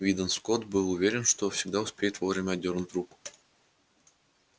уидон скотт был уверен что всегда успеет вовремя отдёрнуть руку